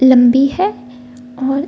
लम्बी है और --